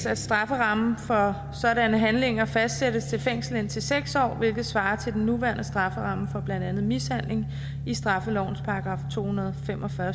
at strafferammen for sådanne handlinger fastsættes til fængsel indtil seks år hvilket svarer til den nuværende strafferamme for blandt andet mishandling i straffelovens § to hundrede og fem og fyrre